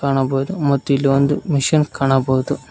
ಕಾಣಬಹುದು ಮತ್ತು ಇಲ್ಲಿ ಒಂದು ಮಿಷಿನ್ ಕಾಣಬಹುದು.